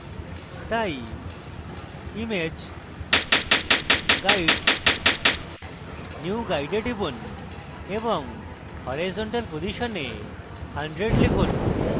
তাই image guides new guide এ টিপুন এবং horizontal position এ 100 লিখুন